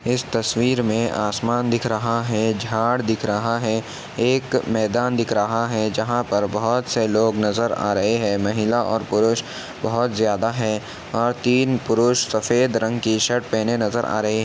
इस तस्वीर में आसमान दिख रहा है झाड़ दिख रहा है। एक मैदान दिख रहा है जहां पर बहुत से लोग नजर आ रहे हैं महिला और पुरुष बहुत ज्यादा हैं और तीन पुरुष सफेद रंग की शर्ट पहने नजर आ रहें --